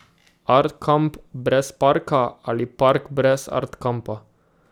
Art kamp brez parka ali park brez Art kampa.